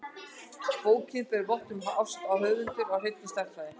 Bókin ber vott um ást höfundar á hreinni stærðfræði.